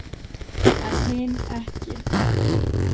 En hin ekki.